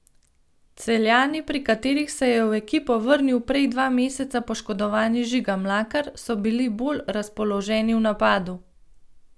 Celjani, pri katerih se je v ekipo vrnil prej dva meseca poškodovani Žiga Mlakar, so bili bolj razpoloženi v napadu.